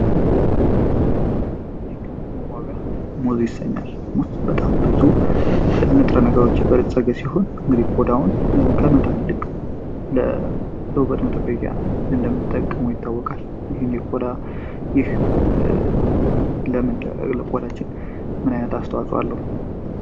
ይግ መቧቢያ ሙዙ ይሰኛል ሙስ በጣም ብዙ ንጥረ ነገሮች የበሬትጸገ ሲሆን እንግዲ ኮዳውን ከመጣል ይልቅ ለደውበት መጠበቂያ እንደምንጠቀሞ ይታወቃል ይህን የዳ ይህ ለምን ለለቆዳችን ምናይነት አስተዋጿ አለው፡፡